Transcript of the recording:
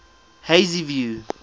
hazyview